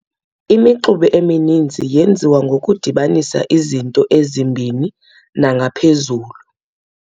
Imixube emininzi yenziwa ngokudibanisa izinto ezimbini nangaphezulu.